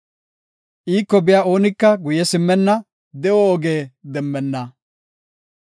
Iiko biya oonika guye simmenna; de7o oge demmenna.